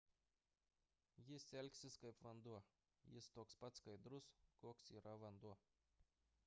jis elgsis kaip vanduo jis toks pats skaidrus koks yra vanduo